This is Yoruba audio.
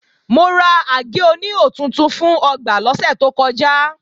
Mo ra àgé-oníhò tuntun fún ọgbà lọ́sẹ̀ tó kọjá